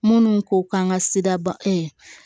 Minnu ko k'an ka siraba